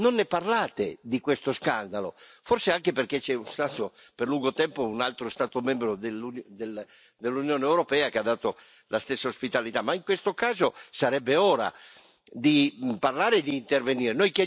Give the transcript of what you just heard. Non ne parlate, di questo scandalo, forse anche perché c'è stato per lungo tempo un altro Stato membro dell'Unione europea che ha dato la stessa ospitalità. Ma in questo caso sarebbe ora di parlare e di intervenire.